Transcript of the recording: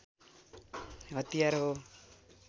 हतियार हो